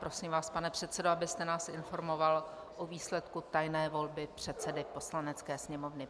Prosím vás, pane předsedo, abyste nás informoval o výsledku tajné volby předsedy Poslanecké sněmovny.